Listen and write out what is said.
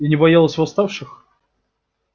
и не боялась восставших